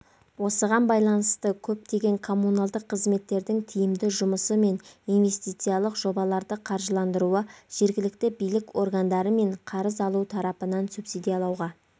осыған байланысты көптеген коммуналдық қызметтердің тиімді жұмысы мен инвестициялық жобаларды қаржыландыруы жергілікті билік органдары мен қарыз алу тарапынан субсидиялауға